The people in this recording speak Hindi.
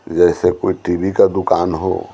जैसे कोई टीवी का दुकान हो।